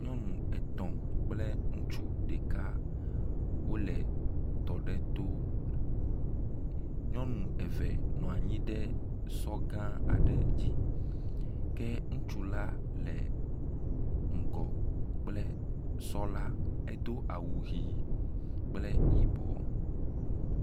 Nyɔnu etɔ̃ kple ŋutsu ɖeka wo le tɔ aɖe to. Nyɔnu eve nɔ anyi ɖe sɔ gã aɖe dzi ke ŋutsu la le ŋgɔ kple sɔ la edo awu ʋi kple yibɔ.